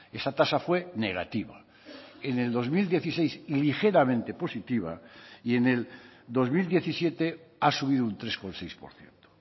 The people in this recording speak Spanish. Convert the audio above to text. esa tasa fue negativa en el dos mil dieciséis ligeramente positiva y en el dos mil diecisiete ha subido un tres coma seis por ciento